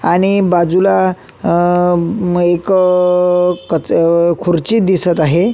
आणि बाजूला एक अ अ म एक कच खुर्ची दिसत आहे.